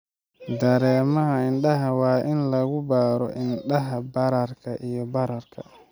Dareemaha indhaha waa in lagu baaro indhaha bararka iyo bararka.